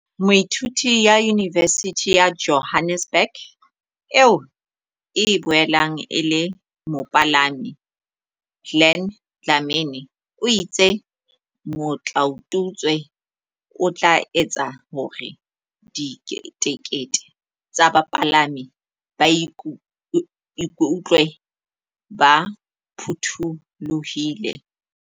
Moithuti wa Yunivesithi ya Johannesburg eo e boelang e le mopalami, Glen Dlamini o itse motlaotutswe o tla etsa hore diketekete tsa bapalami ba iku tlwe ba phuthulohile.